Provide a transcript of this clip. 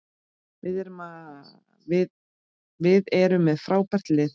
Við erum með frábært lið.